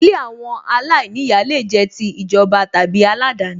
Ilé àwọn aláìníyàá lè jẹ́ ti ìjọba tàbí aládani